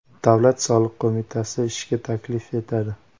Davlat soliq qo‘mitasi ishga taklif etadi.